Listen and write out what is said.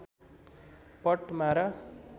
पट्मारा